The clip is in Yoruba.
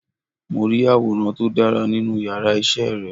Mo rí àwòrán tí ó dára nínú yàrá isé re